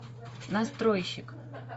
настройщик